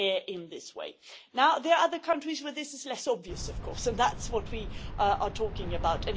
in this way. There are other countries where this is less obvious, and that is what we are talking about.